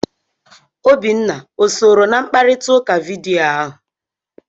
Obinna o sooro na mkparịta ụka vidiyo ahụ?